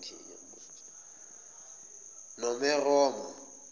nomeroma